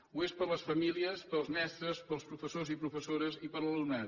ho és per a les famílies per als mestres per als professors i professores i per a l’alumnat